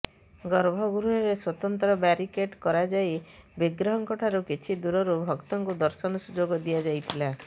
ଗର୍ଭଗୃହରେ ସ୍ବତନ୍ତ୍ର ବ୍ୟାରିକେଡ୍ କରାଯାଇ ବିଗ୍ରହଙ୍କଠାରୁ କିଛି ଦୂରରୁ ଭକ୍ତଙ୍କୁ ଦର୍ଶନ ସୁଯୋଗ ଦିଆଯାଇଥିଲା